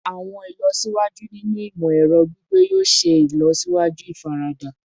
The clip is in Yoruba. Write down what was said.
Awọn ilọsiwaju ninu imọ-ẹrọ gbigbe yoo ṣee ṣe ilọsiwaju ifarada